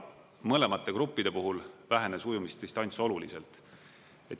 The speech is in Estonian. Mõlemate gruppide puhul vähenes ujumisdistants oluliselt.